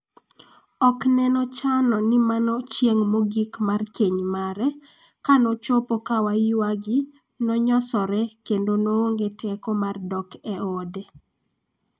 Okneno chano ni mano chieng' mogik mar keny mare, kanochopo ka waygi nonyosore kendo noonge teko mar dok e ode.